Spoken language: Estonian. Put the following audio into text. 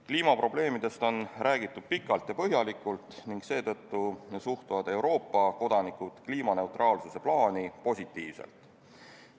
Kliimaprobleemidest on räägitud pikalt ja põhjalikult ning seetõttu suhtuvad Euroopa kodanikud kliimaneutraalsuse plaani positiivselt.